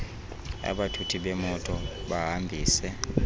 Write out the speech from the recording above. abathuthi bemoto bahambise